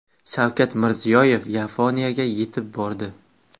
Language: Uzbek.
Shavkat Mirziyoyev Yaponiyaga yetib bordi .